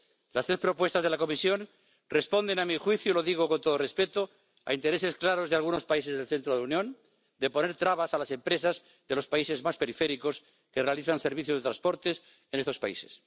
Las tres propuestas de la Comisión responden, a mi juicio —y lo digo con todo respeto—, a intereses claros de algunos países del centro de la Unión de poner trabas a las empresas de los países más periféricos que realizan servicios de transportes en estos países.